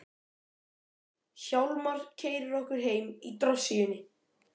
Hjálmar keyrir okkur heim í drossíunni.